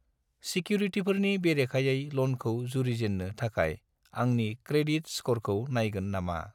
सिकिउरिटिफोरनि बेरेखायै ल'नखौ जुरिजेननो थाखाय आंनि क्रेडिट स्क'रखौ नायगोन नामा?